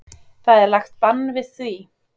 Það er lagt bann við því.